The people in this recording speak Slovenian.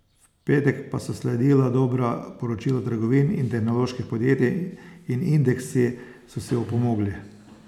V petek pa so sledila dobra poročila trgovin in tehnoloških podjetij in indeksi so si opomogli.